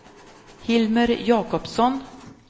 Hilmer Jacobsson